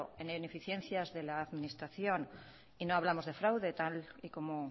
en ineficiencias de la administración y no hablamos de fraude tal y como